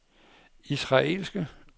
israelske